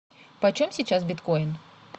почем сейчас биткоин